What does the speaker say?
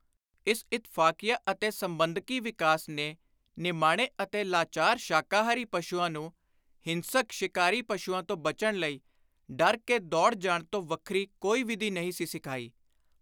ਇਸ ਇਤਫ਼ਾਕੀਆ ਅਤੇ ਸੰਬੰਧਕੀ ਵਿਕਾਸ ਨੇ ਨਿਮਾਣੇ ਅਤੇ ਲਾਚਾਰ ਸ਼ਾਕਾਹਾਰੀ ਪਸ਼ੁਆਂ ਨੂੰ ਹਿੰਸਕ ਸ਼ਿਕਾਰੀ ਪਸ਼ੁਆਂ ਤੋਂ ਬਚਣ ਲਈ ‘ਡਰ ਕੇ ਦੌੜ ਜਾਣ’ ਤੋਂ ਵੱਖਰੀ ਕੋਈ ਵਿਧੀ ਨਹੀਂ ਸੀ ਸਿਖਾਈ।